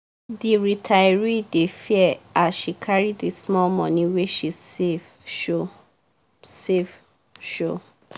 the retiree dey fear as she carry the small money wey she save show save show.